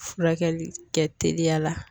Furakɛli kɛ teliya la